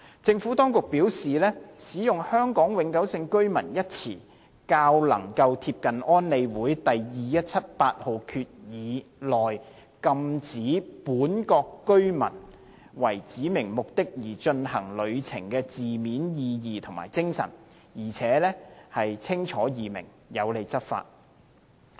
政府當局表示，使用"香港永久性居民"一詞，較能夠貼近安理會第2178號決議內，禁止"本國國民"為指明目的而進行旅程的字面意義及精神，而且清楚易明，有利執法。